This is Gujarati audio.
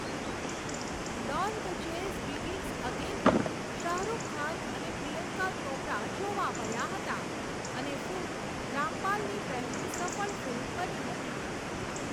ડોન ધ ચેઝ બિગિન્સ અગેનમાં શાહ રૂખ ખાન અને પ્રિયંકા ચોપરા જોવા મળ્યા હતા અને ફિલ્મ રામપાલની પહેલી સફળ ફિલ્મ બની હતી.